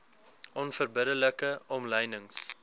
onverbidde like omlynings